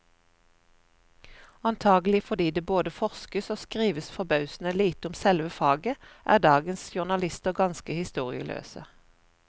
Antagelig fordi det både forskes og skrives forbausende lite om selve faget, er dagens journalister ganske historieløse.